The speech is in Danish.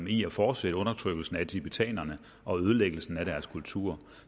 i at fortsætte undertrykkelsen af tibetanerne og ødelæggelsen af deres kultur